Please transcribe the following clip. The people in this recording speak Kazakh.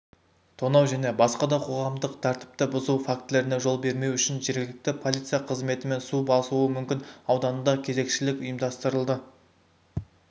тонау және басқа да қоғамдық тәртіпті бұзу фактілеріне жол бермеу үшін жергілікті полиция қызметімен су басуы мүмкін ауданында кезекшілік ұйымдастырылды